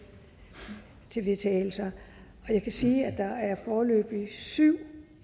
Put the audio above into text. vedtagelse jeg kan sige at der foreløbig er syv